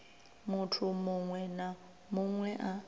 muthu muṅwe na muṅwe a